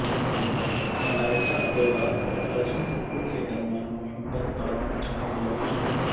ملائیکہ اروڑا اور ارجن کپور کے درمیان محبت پروان چڑھنے لگی